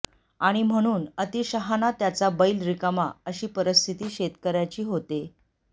आणि म्हणून अतिशहाणा त्याचा बैल रिकामा अशी परिस्थिती शेतकऱ्याची होते